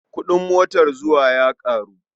Kuɗin motar zuwa ya ƙaru.